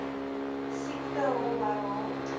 siekte hom herhaal